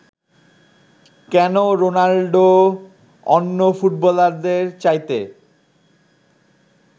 কেন রোনাল্ডো অন্য ফুটবলারদের চাইতে